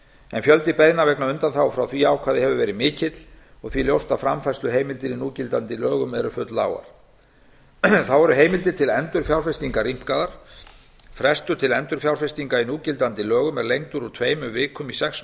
en fjöldi beiðna vegna undanþágu frá því ákvæði hefur verið mikill og því ljóst að framfærsluheimildir í núgildandi lögum eru fulllágar þá eru heimildir til endurfjárfestingar rýmkaðar frestur til endurfjárfestinga í núgildandi lögum er lengdur úr tveimur vikum í sex